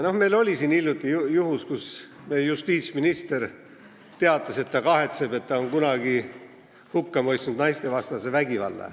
Meil oli hiljuti juhtum, kui justiitsminister teatas, et ta kahetseb, et ta on kunagi hukka mõistnud naistevastase vägivalla.